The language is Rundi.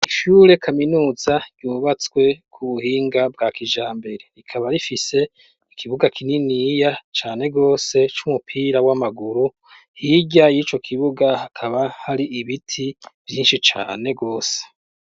Ishure kaminuza ryubatswe mu buhinga bwa kijambere rikaba rifise ikibuga kininiya cane rwose c'umupira w'amaguru hirya y'ico kibuga hakaba hari ibiti vyinshi cane rwose.